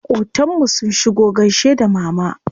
Maƙotan mu sun shigo gaishe da mama.